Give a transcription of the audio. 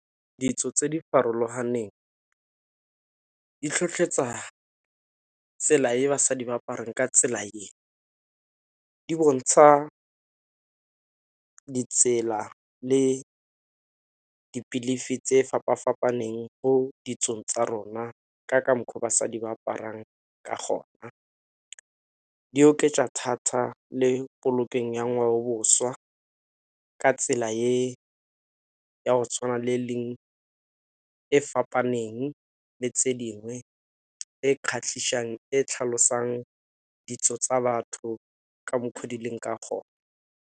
Ditso tse di farologaneng di tlhotlhetsa tsela e basadi ba aparang ka tsela e, di bontsha ditsela le di-believe tse fapa-fapaneng mo ditsong tsa rona ka mokgwa basadi ba aparang ka gona. Di oketsa thata le ya ngwaoboswa ka tsela e ya go tshwana le e fapaneng le tse dingwe e e tlhalosang ditso tsa batho ka mokgwa di leng ka gona.